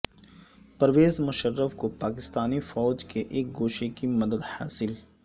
پرویز مشرف کو پاکستانی فوج کے ایک گوشہ کی مدد حاصل